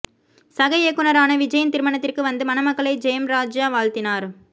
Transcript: சக இயக்குனரான விஜய்யின் திருமணத்திற்கு வந்து மணமக்களை ஜெயம் ராஜா வாழ்த்தினார்